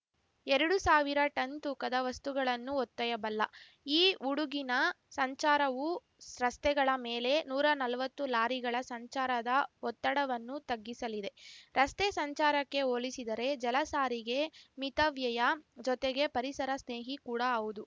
ಎರಡು ಸಾವಿರ ಟನ್‌ ತೂಕದ ವಸ್ತುಗಳನ್ನು ಹೊತ್ತೊಯ್ಯಬಲ್ಲ ಈ ಉಡುಗಿನ ಸಂಚಾರವು ರಸ್ತೆಗಳ ಮೇಲೆ ನೂರಾ ನಲ್ವತ್ತು ಲಾರಿಗಳ ಸಂಚಾರದ ಒತ್ತಡವನ್ನು ತಗ್ಗಿಸಲಿದೆ ರಸ್ತೆ ಸಂಚಾರಕ್ಕೆ ಹೋಲಿಸಿದರೆ ಜಲಸಾರಿಗೆ ಮಿತವ್ಯಯ ಜೊತೆಗೆ ಪರಿಸರ ಸ್ನೇಹಿ ಕೂಡಾ ಹೌದು